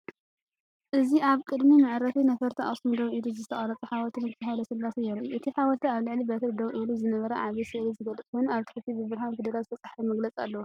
እዚ ኣብ ቅድሚ መዕርፎ ነፈርቲ ኣኽሱም ደው ኢሉ ዝተቐርጸ ሓወልቲ ንጉስ ሃይለስላሴ የርኢ። እቲ ሓወልቲ ኣብ ልዕሊ በትሪ ደው ኢሉ ዝነበረ ዓቢ ስእሊ ዝገልጽ ኮይኑ፡ ኣብ ታሕቲ ብብርሃን ፊደላት ዝተጻሕፈ መግለጺ ኣለዎ።